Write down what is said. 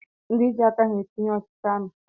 Ndi ji aka ha entinye ọchịchị amị